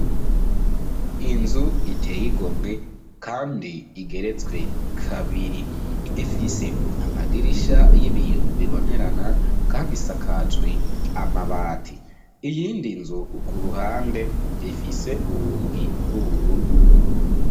Inzu iteye igomwe kandi igeretswe kabiri. Ifise amadirisha y'ibiyo bibonerana kandi isakajwe amabati. Iyindi nzu ku ruhande ifise urugi rw'ubururu.